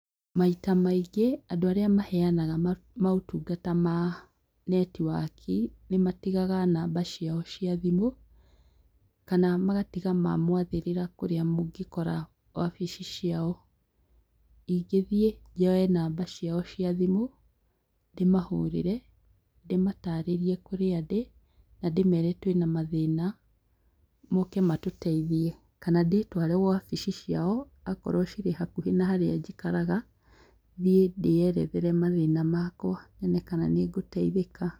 Maita maingĩ, andũ arĩa maheanaga maũtungata ma netiwaki, nĩ matigaga namba ciao cia thimũ, kana magatiga mamwathĩrĩra kurĩa mũngĩkora wabici ciao. Ingĩthi njoe namba ciao cia thimũ, ndĩmataarĩrie kũrĩa ndĩ, na ndĩmere twĩna mathĩna, mooke matũteithie. Kana ndĩtware wabici ciao, a korwo cirĩ hakuhĩ na harĩa njikaraga, thiĩ ndĩerethere mathĩna makwa nyone kana nĩngũteithĩka.